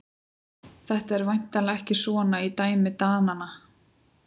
Þetta er væntanlega ekki svona í dæmi Dananna?